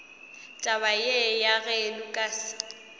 taba ye ya ge lukas